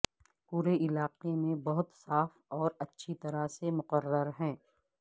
پورے علاقے میں بہت صاف اور اچھی طرح سے مقرر ہے